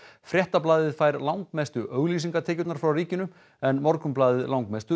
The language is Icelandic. fréttablaðið fær langmestu auglýsingatekjurnar frá ríkinu en Morgunblaðið langmestu